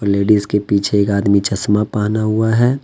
Ladies के पीछे एक आदमी चश्मा पहना हुआ है।